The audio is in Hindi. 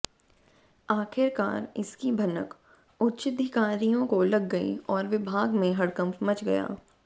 आखिरकार इसकी भनक उच्चधिकारियों को लग गई और विभाग में हड़कंप मच गया